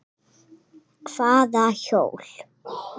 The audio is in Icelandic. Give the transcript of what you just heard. Hvaða hjól?